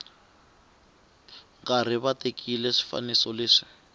karhi va tekiwa swifaniso leswi